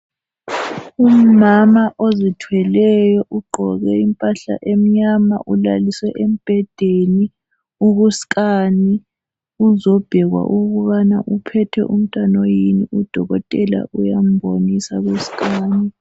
Umama ozithweleyo ugqoke impahla emnyama ulaliswe embedeni uku scan, uzobhekwa ukubana uphethe umntwana oyini udokotela uyambonisa ku scan.